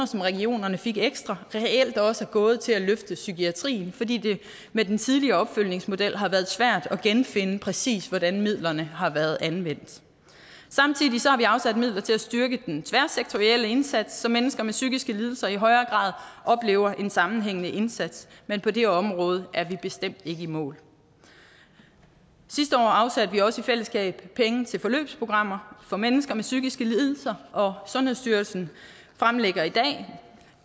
som regionerne fik ekstra reelt også er gået til at løfte psykiatrien fordi det med den tidligere opfølgningsmodel har været svært at genfinde præcis hvordan midlerne har været anvendt samtidig har vi afsat midler til at styrke den tværsektorielle indsats så mennesker med psykiske lidelser i højere grad oplever en sammenhængende indsats men på det område er vi bestemt ikke i mål sidste år afsatte vi også i fællesskab penge til forløbsprogrammer for mennesker med psykiske lidelser og sundhedsstyrelsen fremlægger